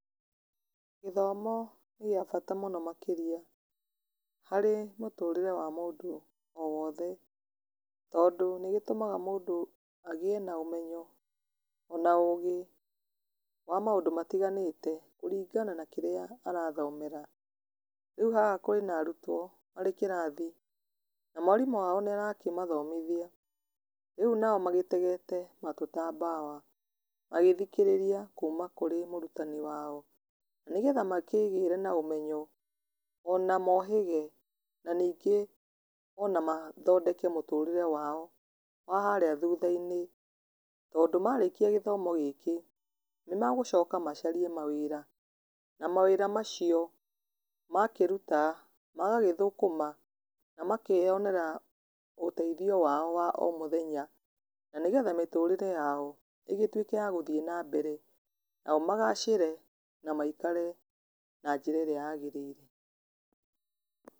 Gĩthomo nĩ gĩbata mũno makĩria, harĩ mũtũrĩre wa mũndũ wothe, tondũ nĩ gĩtũmaga mũndũ agĩe na ũmenyo, ona ũgĩ, wa maũndũ matiganĩte kũringana na kĩrĩa arathomera, rĩu haha kwĩna arutuo marĩ kĩrathi, na mwarimũ wao nĩ arakĩmathomithia, rĩu nao magĩtegete matũ ta mbawa, magĩthikĩrĩria kuma kũrĩ mũrutani wao, nĩ getha makĩgĩre na ũmenyo, ona mohĩge , na ningĩ ona mathondeke mũtũrĩre wao wa harĩa thutha-inĩ, tondũ marĩkia gĩthomo gĩkĩ, nĩ megũcoka macarie mawĩra, na mawĩra macio makĩruta, magagĩthũkũma na makeyonera ũteithio wao wa o mũthenya, na nĩgetha mĩtũrĩre yao ĩgĩtweke ya gũthiĩ na mbere, nao magacĩre, na maikare na njĩra ĩrĩa ya gĩrĩire.